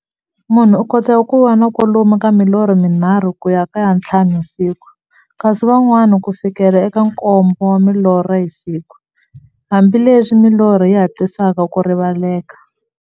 Munhu u kota ku va na kwalomu ka milorho mi nharhu ku ya ka ya nthlanu hi siku, kasi van'wana ku fikela eka nkombo wa milorho hi siku, hambileswi milorho yi hatlisaka ku rivaleka.